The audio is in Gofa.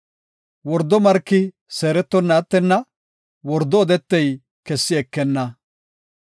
Wordo marki seerettonna attenna; wordo odetey kessi ekenna.